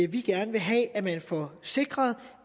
vi gerne vil have at man får sikret